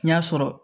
N y'a sɔrɔ